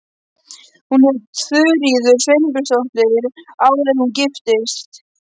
Hún hét Þuríður Sveinbjörnsdóttir áður en hún giftist.